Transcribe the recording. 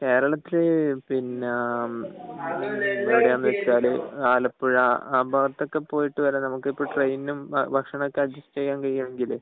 കേരളത്തില് പിന്നെ എവിടെയാണ് എന്ന് വച്ചാൽ ആ ഭാഗത്തൊക്കെ പോയിട്ട് വരാൻ നമുക്ക് ഇപ്പൊ ട്രെയിനും ബസിനും ഒക്കെ അഡ്ജസ്സ്റ് ചെയ്യാൻ കഴിയുകയാണെങ്കിൽ